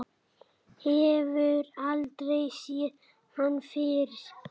Hefur aldrei séð hann fyrr.